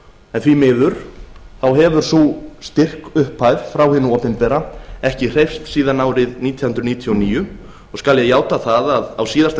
en því miður hefur sú styrkupphæð frá hinu opinbera ekki hreyfst síðan árið nítján hundruð níutíu og níu og skal ég játa það að á síðasta